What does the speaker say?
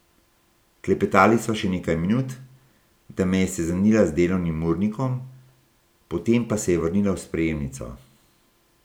Klepetali sva še nekaj minut, da me je seznanila z delovnim urnikom, potem pa se je vrnila v sprejemnico.